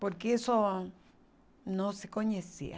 Porque isso não se conhecia.